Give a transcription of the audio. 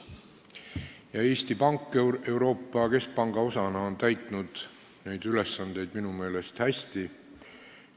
Ja Eesti Pank Euroopa Keskpanga osana on neid ülesandeid minu meelest hästi täitnud.